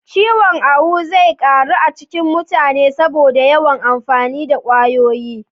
Ciwon awu zai ƙaru a cikin mutane saboda yawan amfani da kwayoyi